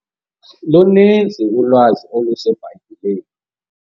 Luninzi ulwazi oluseBhayibhileni.